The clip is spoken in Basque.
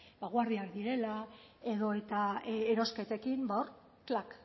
direla edota erosketekin klak